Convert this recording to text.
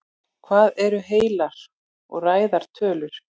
Hvað eru heilar og ræðar tölur?